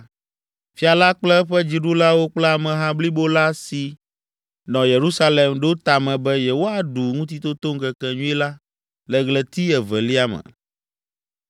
Fia la kple eƒe dziɖulawo kple ameha blibo la si nɔ Yerusalem ɖo tame be yewoaɖu Ŋutitotoŋkekenyui la le ɣleti evelia me.